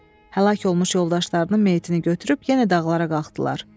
Həlak olmuş yoldaşlarının meyitini götürüb yenə dağlara qalxdılar.